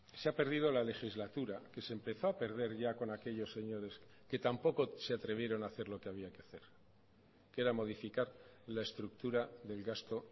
se ha perdido la legislatura que se empezó a perder ya con aquellos señores que tampoco se atrevieron a hacer lo que había que hacer que era modificar la estructura del gasto